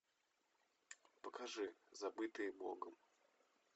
покажи забытые богом